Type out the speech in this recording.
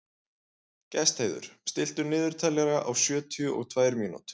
Gestheiður, stilltu niðurteljara á sjötíu og tvær mínútur.